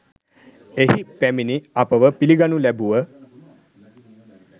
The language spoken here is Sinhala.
එහි පැමිණි අපව පිළිගනු ලැබුව